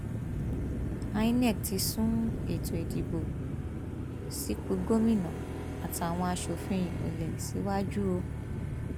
inov ti sún ètò ìdìbò sípò gómìnà àtàwọn asòfin ìpínlẹ síwájú o